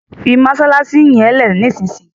fí masalasi yén lẹ nísìsiyìí!